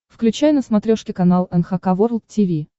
включай на смотрешке канал эн эйч кей волд ти ви